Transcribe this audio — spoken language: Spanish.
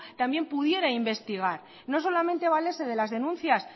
también pudiera investigar no solamente valerse de las denuncias